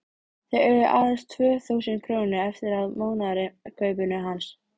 Þau eiga aðeins tvö þúsund krónur eftir af mánaðarkaupinu hans.